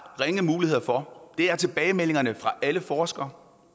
ringe muligheder for er tilbagemeldingerne fra alle forskere